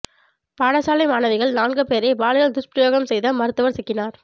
பாடசாலை மாணவிகள் நான்கு பேரை பாலியல் துஷ்பிரயோகம் செய்த மருத்துவர் சிக்கினார்